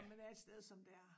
Når man er et sted som der